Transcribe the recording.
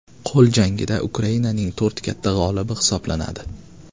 Qo‘l jangida Ukrainaning to‘rt katta g‘olibi hisoblanadi.